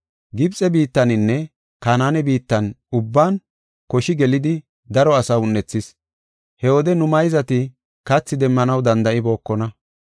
“Gibxe biittaninne Kanaane biittan ubban koshi gelidi daro asaa un7ethis. He wode nu mayzati kathi demmanaw danda7ibookona.